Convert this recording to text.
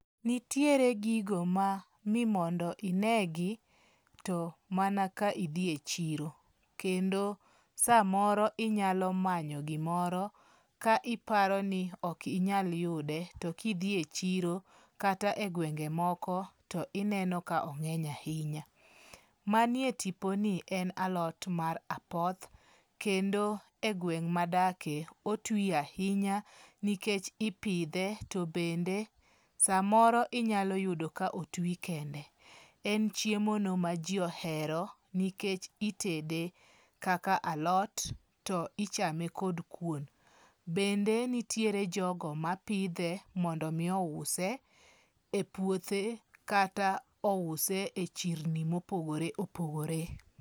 Nitiere gigo ma mimondo inegi to mana ka idhi e chiro. Kendo samoro inyalo manyo gimoro ka iparo ni ok inyal yude to kidhi e chiro kata e gwenge moko to ineno ka ong'eny ahinya. Manie tipo ni en alot mar apoth. Kendo e gweng' madage otwi ahinya nikech ipidhe to bende samoro inyalo yudo ka otwi kende. En chiemo no ma ji ohero nikech itede kaka alot to ichame kod kuon. Bende nitiere jogo mapidhe mondo mi ouse e puothe kata ouse e chirni mopogore opogore.